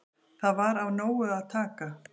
Þar var af nógu að taka.